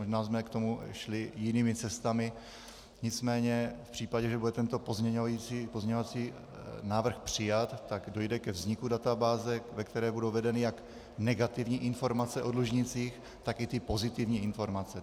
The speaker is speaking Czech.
Možná jsme k tomu šli jinými cestami, nicméně v případě, že bude tento pozměňovací návrh přijat, tak dojde ke vzniku databáze, ve které budou vedeny jak negativní informace o dlužnících, tak i ty pozitivní informace.